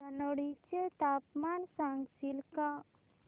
धनोडी चे तापमान सांगशील का